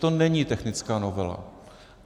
To není technická novela.